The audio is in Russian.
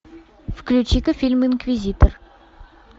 включи ка фильм инквизитор